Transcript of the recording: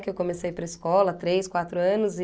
Que eu comecei a ir para a escola há três, quatro anos e...